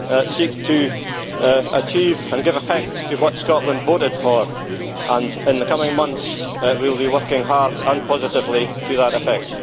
seek to achieve and give effect to what Scotland voted for and, in the coming months, will be working hard and positively to that effect.